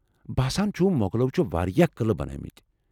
باسان چُھ مۄغلو چھِ واریاہ قلعہ بنٲومٕتۍ۔